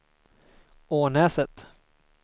Ånäset